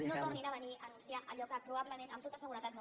no tornin a venir a anunciar allò que probablement amb tota seguretat no faran